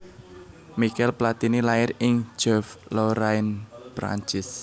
Michel Platini lair ing Joeuf Lorraine Prancis